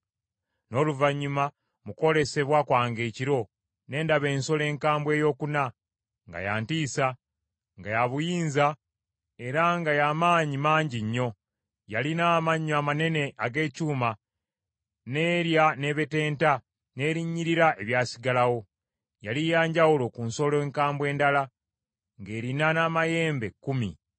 “N’oluvannyuma mu kwolesebwa kwange ekiro, ne ndaba ensolo enkambwe eyokuna, nga ya ntiisa, nga ya buyinza era nga ya maanyi mangi nnyo. Yalina amannyo amanene ag’ekyuma, n’erya n’ebetenta, n’erinnyirira ebyasigalawo. Yali yanjawulo ku nsolo enkambwe endala, ng’erina n’amayembe kkumi.